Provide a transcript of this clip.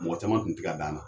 Mɔgɔ caman kun ti ka d'an na.